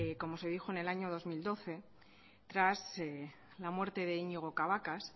en el año dos mil doce tras la muerte de iñigo cabacas